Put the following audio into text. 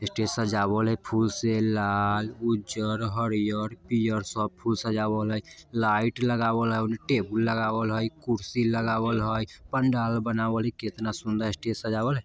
स्टेज सजावल हय फुल से लाल उज्जर हरियर पियर सब फूल सजावल हय लाइट लगावल हय ओने टेबुल लगावल हय कुर्सी लगावल हय पंडाल बनावल हय केतना सुंदर स्टेज सजवाल हय।